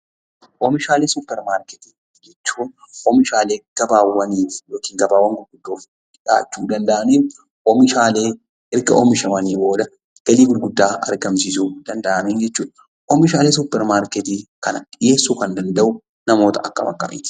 Oomishaalee supper markettii jechuun oomishaalee gabaa ta'anii oomishaalee erga oomishamanii boodan galii guddaa argamsiisuu danda'an jechuudha. Oomishaalee supper markettii kana namoonni dhiheessuu danda'an namoota akkam akkamiiti?